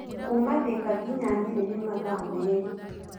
Kuuma Thika ngina Nyeri nĩ mathaa merĩ.